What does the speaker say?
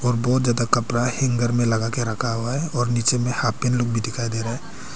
बहुत ज्यादा कपड़ा हैंगर में लगाके रखा हुआ है और नीचे में लोग भी दिखाई दे रहा है।